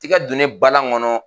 Tɛgɛ donnen npalan kɔnɔ